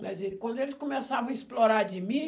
Mas aí quando eles começavam a explorar de mim...